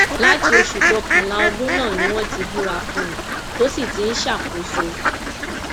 láti oṣù kọkànlá ọdún náà ni wọn ti búra fún un tó sì ti ń ṣàkóso